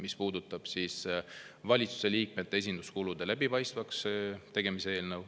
See puudutab valitsuse liikmete esinduskulude läbipaistvaks tegemist.